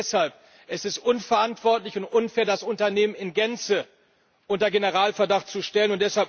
Und deshalb Es ist unverantwortlich und unfair, das Unternehmen in Gänze unter Generalverdacht zu stellen.